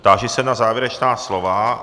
Táži se na závěrečná slova.